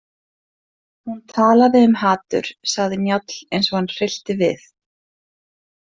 Hún talaði um hatur, sagði Njáll eins og hann hryllti við.